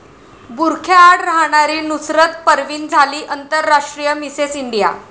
बुरख्याआड राहणारी नुसरत परवीन झाली आंतरराष्ट्रीय मिसेस इंडिया!